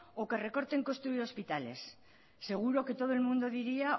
o que recorten construir hospitales seguro que todo el mundo diría